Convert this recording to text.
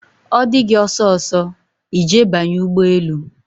ọ dị gị ọsọsọ, I je banye ụgbọelu